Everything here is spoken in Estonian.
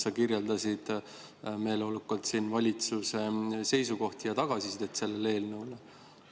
Sa kirjeldasid meeleolukalt valitsuse seisukohti ja tagasisidet selle eelnõu kohta.